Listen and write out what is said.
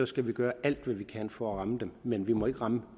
skal vi gøre alt hvad vi kan for at ramme dem men vi må ikke ramme